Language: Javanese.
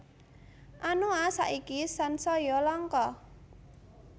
Anoa saiki sansaya langka